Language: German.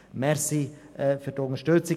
Danke für die Unterstützung.